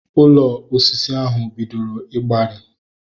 Ụlọ osisi ahu bidoro igbari